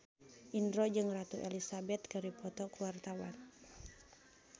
Indro jeung Ratu Elizabeth keur dipoto ku wartawan